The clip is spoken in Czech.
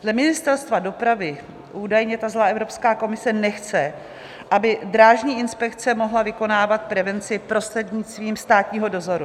Dle Ministerstva dopravy údajně ta zlá Evropská komise nechce, aby drážní inspekce mohla vykonávat prevenci prostřednictvím státního dozoru.